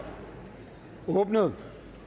åbnet